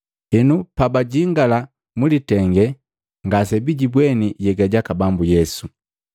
Henu pabajingala mwilitenge, ngasebijibweni nhyega jaka Bambu Yesu.